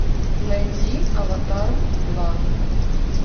найди аватар два